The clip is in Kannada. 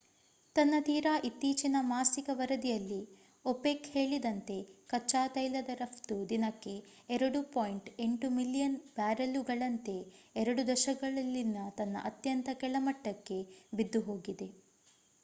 ತನ್ನ ತೀರಾ ಇತ್ತೀಚಿನ ಮಾಸಿಕ ವರದಿಯಲ್ಲಿ opec ಹೇಳಿದಂತೆ ಕಚ್ಚಾತೈಲದ ರಫ್ತು ದಿನಕ್ಕೆ 2.8 ಮಿಲಿಯನ್ ಬ್ಯಾರೆಲ್ಲುಗಳಂತೆ ಎರಡು ದಶಕಗಳಲ್ಲಿನ ತನ್ನ ಅತ್ಯಂತ ಕೆಳಮಟ್ಟಕ್ಕೆ ಬಿದ್ದುಹೋಗಿದೆ